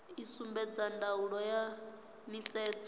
i sumbedza ndaulo ya nisedzo